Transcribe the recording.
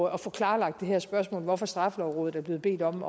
at få klarlagt det her spørgsmål hvorfor straffelovrådet er blevet bedt om